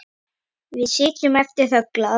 Við sitjum eftir þöglar.